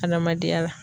Adamadenya la